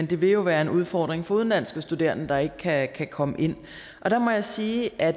det vil jo være en udfordring for udenlandske studerende der ikke kan komme ind og der må jeg sige at